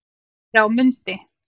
Eftir á mundi